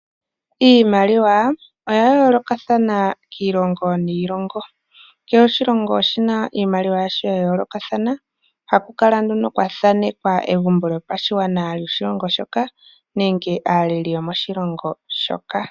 Iimaliwa oya yoolokathana kiilongo niilongo kehe oshilongo oshina iimaliwa yasho ya yoolokathana hakukala nduno kwa thanekwa egumbo lyopashigwana lyoahilongo shoka nenge aaleli yomoshilongo shoka.